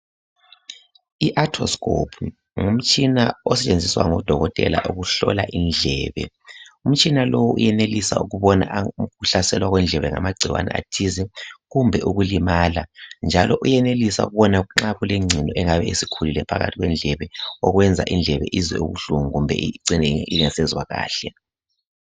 Iathoskopu ngumtshina osetshenziswa ngodokotela ukuhlola indlebe. Umtshina uyenelisa ukubona ukuhlaselwa kwendlebe ngamagcikwane athize kumbe ukulimala njalo uyenelisa ukubona nxa kulengcino engabe isikhulile phakathi kwendlebe okwenza izwe ubuhlungu kumbe icine ingasezwa kahle.